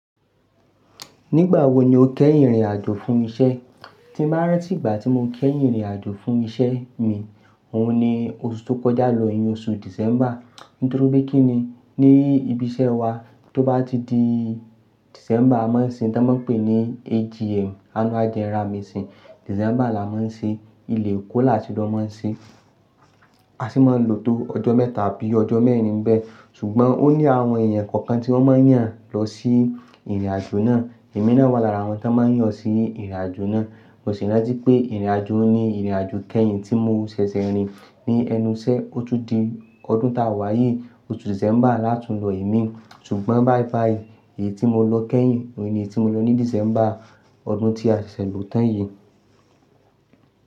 Nígbà wo ni o kẹ́yìn rìn àjò fún iṣẹ́? Ti máa rántí ìgbà tí mo kẹ́yìn rìn àjò fún iṣẹ́ mi, òun ni oṣù tó kọjá lọ, ni oṣù December. Nítorí pé kíni ní ibi iṣẹ́ wa, tó bá ti di December, a máa ń ṣe tí a máa pè ní AGM, Annual General Meeting. December la máa ń ṣe, ilẹ̀ èkó la tì ń lọ máa ń ṣe. A sì máa lò tó ọjọ́ mẹ́ta àbí ọjọ́ mẹ́rin bẹ́ẹ̀. Ṣùgbọ́n o ní àwọn èèyàn kọ̀ọ̀kan tí wọ́n máa yàn lọ sí ìrìn àjò náà. Èmi náà wà lára àwọn tan máa yan sí ìrìn àjò náà. Mo sì rántí pé ìrìn àjò ni ìrìn àjò kẹ́yìn tí mo ṣẹ̀ṣẹ̀ rìn ní ẹnu iṣẹ́. Ó tún di ọdún tá wa yì, oṣù December láti lọ ìmi. Ṣùgbọ́n bye bye, èyí tí mo lọ kẹ́yìn òun ni èyí tí mo lọ ní December ọdún tí a ṣẹ̀ lò tán yìí.